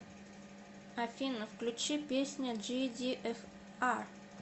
афина включи песня джидиэфар